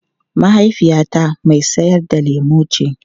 Mahaifiyata mai sayar da lemu ce.